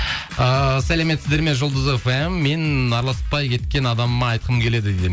ыыы сәлеметсіздер ме жұлдыз фм мен араласпай кеткен адамыма айтқым келеді